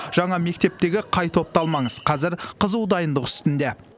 жаңа мектептегі қай топты алмаңыз қазір қызу дайындық үстінде